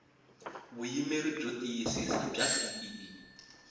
vuyimeri byo tiyisisa bya bee